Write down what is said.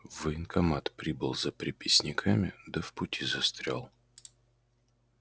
в военкомат прибыл за приписниками да в пути застрял